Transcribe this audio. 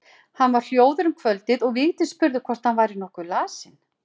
Hann var hljóður um kvöldið og Vigdís spurði hvort hann væri nokkuð lasinn.